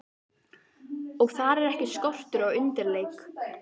Og þar er ekki skortur á undirleik.